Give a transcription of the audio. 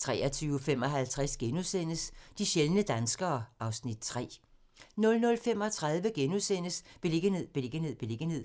23:55: De sjældne danskere (Afs. 3)* 00:35: Beliggenhed, beliggenhed, beliggenhed